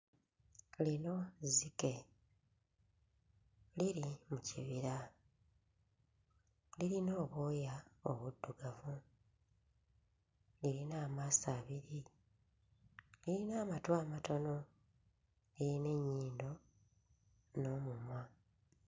Lino zzike liri mu kibira, lirina obwoya obuddugavu lirina amaaso abiri liyina amatu amatono lirina ennyindo n'omumwa.